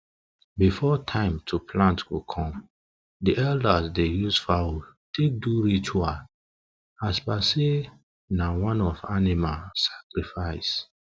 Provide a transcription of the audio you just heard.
before time to plant go come the elders dey use fowl take do ritual as per say na one of animal sacrifice